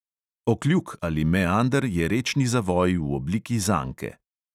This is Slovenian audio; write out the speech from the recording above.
Okljuk ali meander je rečni zavoj v obliki zanke.